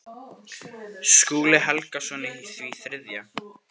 Skúli Helgason í því þriðja.